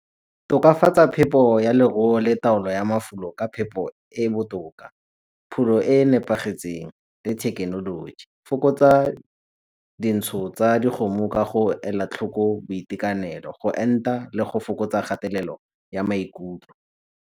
Tokafatsa phepo ya leruo le taolo ya mafulo ka phepo e botoka, pholo e e nepagetseng le thekenoloji. Fokotsa dintsho tsa dikgomo ka go ela tlhoko boitekanelo go enta le go fokotsa kgatelelo ya maikutlo.